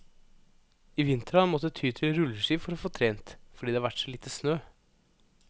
I vinter har han måttet ty til rulleski for å få trent, fordi det har vært så lite snø.